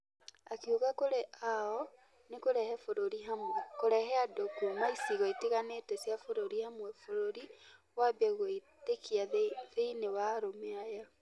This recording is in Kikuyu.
Akĩuga kũrĩ ao nĩ kũrehe bũrũri hamwe , kũrehe andũ kuuma icigo itiganĩte cia bũrũri hamwe , bũrũri ũambie gũitĩkia thĩini wa arũme aya.